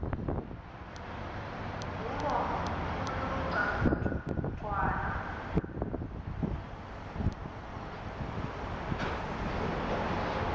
kuwo uluca ngwana